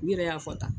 U yɛrɛ y'a fɔ tan